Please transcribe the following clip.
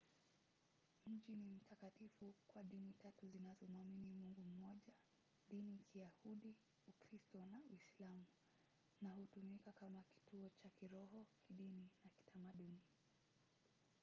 mji ni mtakatifu kwa dini tatu zinazomwamini mungu mmoja - dini ya kiyahudi ukristo na uislamu na hutumika kama kituo cha kiroho kidini na kitamaduni